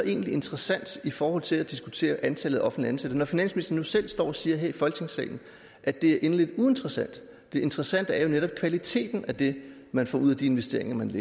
egentlig interessant i forhold til at diskutere antallet af offentligt ansatte når finansministeren nu selv står og siger her i folketingssalen at det er inderligt uinteressant det interessante er jo netop kvaliteten af det man får ud af de investeringer man